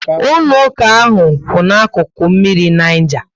Ụlọ ụka ahụ kwu ná akụkụ mmiri Niger